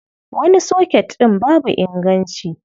Wani soket ɗin babu inganci.